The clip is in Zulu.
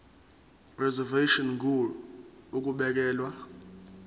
reservation ngur ukubekelwa